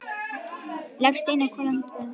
Ég legg steininn á hvolf á mitt borðið.